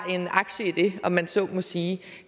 en aktie i det om man så må sige